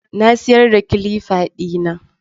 Na siyar da kilifa ɗina